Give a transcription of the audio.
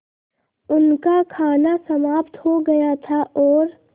उनका खाना समाप्त हो गया था और